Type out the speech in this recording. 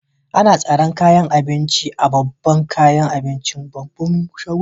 Ana tsaran kayakin abinci a bangaren kayan abinci a'babban shaguna.